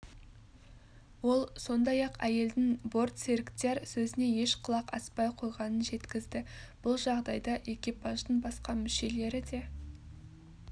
ол сондай-ақ әйелдің бортсеріктер сөзіне еш құлақ аспай қойғанын жеткізді бұл жағдайда экипаждың басқа мүшелері де